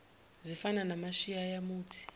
zifana namashiya yamuthi